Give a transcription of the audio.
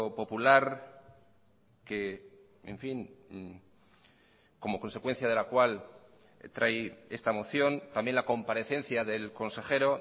popular que en fin como consecuencia de la cual trae esta moción también la comparecencia del consejero